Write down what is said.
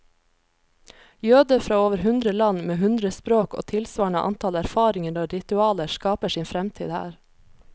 Jøder fra over hundre land, med hundre språk og tilsvarende antall erfaringer og ritualer, skaper sin fremtid her.